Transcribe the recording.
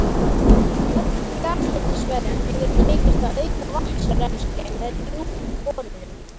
Á mörgum jarðhitasvæðum hefur tekist að auka vatnsrennsli með djúpborunum.